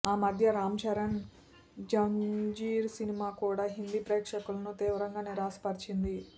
ఆ మద్య రామ్ చరణ్ జంజీర్ సినిమా కూడా హిందీ ప్రేక్షకులను తీవ్రంగా నిరాశ పర్చింది